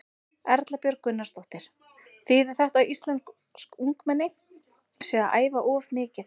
Erla Björg Gunnarsdóttir: Þýðir þetta að íslensk ungmenni séu að æfa of mikið?